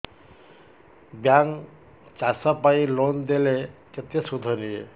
bank ଚାଷ ପାଇଁ loan ଦେଲେ କେତେ ସୁଧ ନିଏ